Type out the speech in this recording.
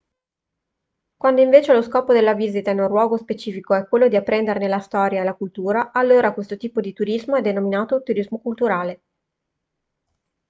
quando invece lo scopo della visita in un luogo specifico è quello di apprenderne la storia e la cultura allora questo tipo di turismo è denominato turismo culturale